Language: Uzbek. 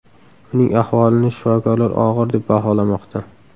Uning ahvolini shifokorlar og‘ir deb baholamoqda.